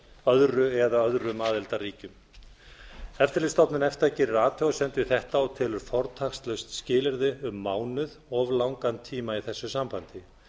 öðru eða öðrum aðildarríkjum eftirlitsstofnun efta gerir athugasemd við þetta og telur fortakslaust skilyrði um mánuð of langan tíma í þessu sambandi